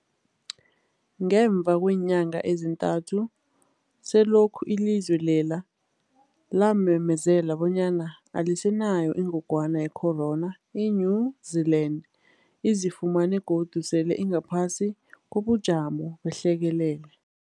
Ngemva kweenyanga ezintathu selokhu ilizwe lela lamemezela bonyana alisenayo ingogwana ye-corona, i-New-Zealand izifumana godu sele ingaphasi kobujamo behlekelele.